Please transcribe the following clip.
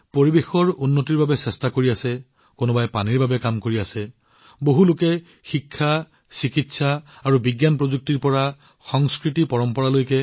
একেদৰে কিছুমানে পৰিৱেশৰ বাবে প্ৰচেষ্টা চলাই আছে আন কিছুমানে পানীৰ বাবে কাম কৰি আছে বহুলোকে অসাধাৰণ কাম কৰি আছে শিক্ষা ঔষধ আৰু বিজ্ঞান প্ৰযুক্তিৰ পৰা সংস্কৃতিপৰম্পৰালৈকে